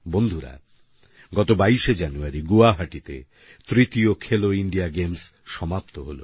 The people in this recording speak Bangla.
বন্ধুরা গত 22 শে জানুয়ারি গুয়াহাটিতে তৃতীয় খেলো ইন্ডিয়া গেমস সমাপ্ত হলো